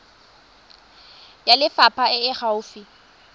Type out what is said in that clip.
ya lefapha e e gaufi